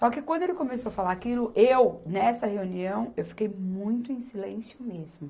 Só que quando ele começou a falar aquilo, eu, nessa reunião, eu fiquei muito em silêncio mesmo.